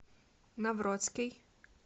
новроцкий